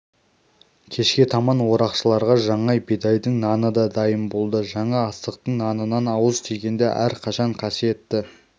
кешке таман орақшыларға жаңа бидайдың наны да дайын болды жаңа астықтың нанынан ауыз тигенде әрқашан қасиетті